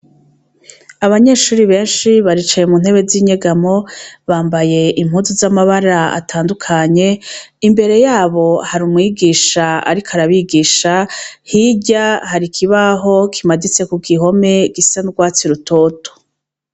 Abanyeshure benshi baricaye mu ntebe z' inyegamo bambaye impuzu z' amabara atandukanye, imbere yabo hari umwigisha ariko arabigisha hirya hari ikibaho kimaditse ku gihome gisa n' ugwatsi rutoto.